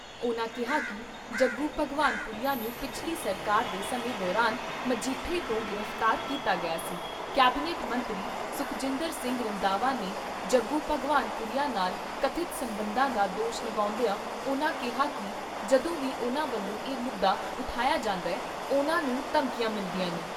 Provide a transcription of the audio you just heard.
ਉਨ੍ਹਾਂ ਕਿਹਾ ਕਿ ਜੱਗੂ ਭਗਵਾਨ ਪੁਰੀਆ ਨੂੰ ਪਿਛਲੀ ਸਰਕਾਰ ਦੇ ਸਮੇਂ ਦੌਰਾਨ ਮਜੀਠੇ ਤੋਂ ਗ੍ਰਿਫਤਾਰ ਕੀਤਾ ਗਿਆ ਸੀ ਕੈਬਨਿਟ ਮੰਤਰੀ ਸੁਖਜਿੰਦਰ ਸਿੰਘ ਰੰਧਾਵਾ ਦੇ ਜੱਗੂ ਭਗਵਾਨ ਪੁਰੀਆ ਨਾਲ ਕਥਿਤ ਸਬੰਧਾਂ ਦਾ ਦੋਸ਼ ਲਾਉਂਦਿਆਂ ਉਨ੍ਹਾਂ ਕਿਹਾ ਕਿ ਜਦੋਂ ਵੀ ਉਨ੍ਹਾਂ ਵੱਲੋਂ ਇਹ ਮੁੱਦਾ ਉਠਾਇਆ ਜਾਂਦਾ, ਉਨ੍ਹਾਂ ਨੂੰ ਧਮਕੀਆਂ ਮਿਲਦੀਆਂ ਨੇ।